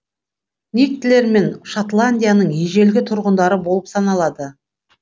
никтлер мен шотландияның ежелгі тұрғындары болып саналады